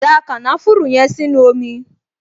Da kànáfùrù yẹn sínú omi!